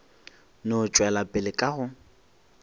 no tšwela pele ka go